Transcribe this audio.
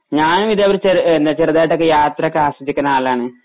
ഞാനും ഇതേപോലെ ചെ ചെറുതായിട്ടൊക്കെ യാത്ര ഒക്കെ ആസ്വദിക്കുന്ന ആളാണ്